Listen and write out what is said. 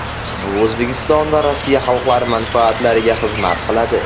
Bu O‘zbekiston va Rossiya xalqlari manfaatlariga xizmat qiladi.